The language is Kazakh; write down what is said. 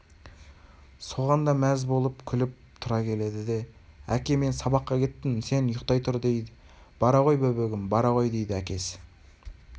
соған да мәз болып күліп-тұра келеді деәке мен сабаққа кеттім сен ұйықтай тұр дейді бара ғой бөбегім бара ғой дейді әкесі